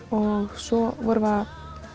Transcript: og svo vorum við að